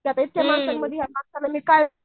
त्या माणसांमध्ये या माणसांमध्ये काय